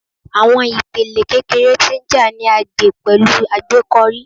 Awọn ipele kekere ti nja ni a gbe pẹlu agbekọri